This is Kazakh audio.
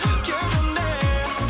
кеудемде